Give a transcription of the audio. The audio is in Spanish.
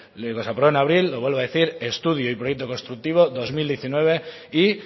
lo que se aprobó en abril lo vuelvo a decir estudio del proyecto constructivo dos mil diecinueve y